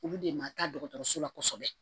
Olu de ma taa dɔgɔtɔrɔso la kɔsɔbɛ